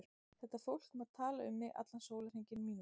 Þetta fólk má tala um mig allan sólarhringinn mín vegna.